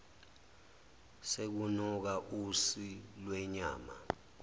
sekunuka usi lwenyama